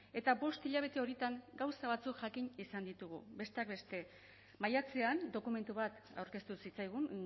eta bost hilabete horietan gauza batzuk jakin izan ditugu besteak beste maiatzean dokumentu bat aurkeztu zitzaigun